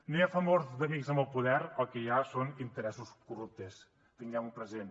no hi ha favors d’amics amb el poder el que hi ha són interessos corruptes tinguem ho present